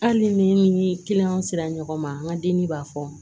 Hali ni kiliyanw sera ɲɔgɔn ma an ka digi b'a fɔ